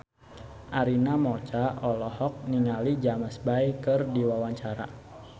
Arina Mocca olohok ningali James Bay keur diwawancara